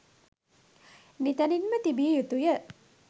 නිතැනින්ම තිබිය යුතු ය